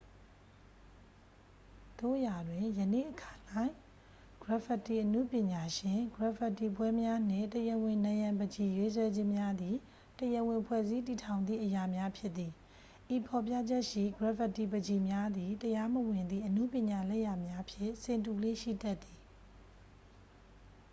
"သို့ရာတွင်၊ ယနေ့အခါ၌ ဂရက်ဖစ်တီအနုပညာရှင်၊ ဂရက်ဖစ်တီပွဲများနှင့် "တရားဝင်" နံရံပန်းချီရေးဆွဲခြင်းများသည် တရားဝင်ဖွဲ့စည်းတည်ထောင်သည့်အရာများဖြစ်သည်။ ဤဖော်ပြချက်ရှိ ဂရက်ဖစ်တီပန်းချီများသည် တရားမဝင်သည့် အနုပညာလက်ရာများဖြင့် ဆင်တူလေ့ ရှိတတ်သည်။